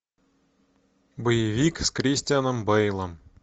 боевик с кристианом бэйлом